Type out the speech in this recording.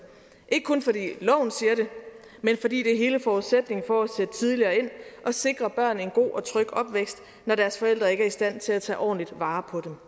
ikke kun fordi loven siger det men fordi det er hele forudsætningen for at sætte tidligere ind og sikre børn en god og tryg opvækst når deres forældre ikke er i stand til at tage ordentligt vare på dem